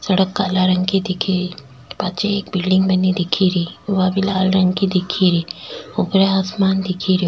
सड़क काला रंग की दिख री पीछे एक बिल्डिंग बनी दिख री वह भी लाल रंग की दिख री ऊपर आसमान दिख रो।